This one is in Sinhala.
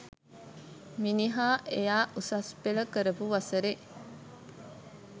මිනිහා එයා උසස් පෙළ කරපු වසරෙ